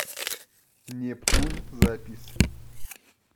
нептун запись